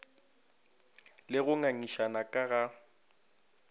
le go ngangišana ka ga